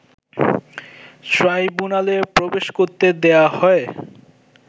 ট্রাইব্যুনালে প্রবেশ করতে দেয়া হয়